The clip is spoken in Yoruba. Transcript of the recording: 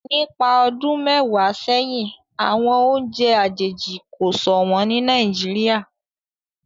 nípa ọdún mẹwàá séhìn àwọn oúnjẹ àjèjì ko ṣọwọn ní Nàìjíríà